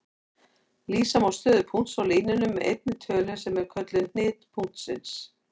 Lýsa má stöðu punkts á línunni með einni tölu sem er kölluð hnit punktsins.